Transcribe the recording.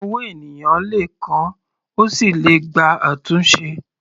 Ọwọ́ ènìyàn le kán, ó sì le gba àtúnṣe.